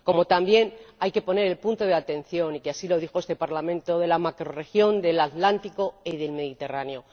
También hay que poner el punto de atención, y así lo dijo este Parlamento, en la macrorregión del Atlántico y del Mediterráneo.